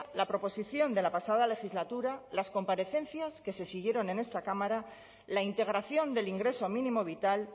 la proposición de la pasada legislatura las comparecencias que se siguieron en esta cámara la integración del ingreso mínimo vital